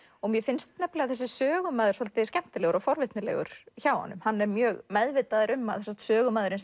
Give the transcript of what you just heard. mér finnst nefnilega þessi sögumaður svolítið skemmtilegur og forvitnilegur hjá honum hann er mjög meðvitaður um að sögumaðurinn